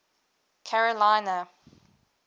carolina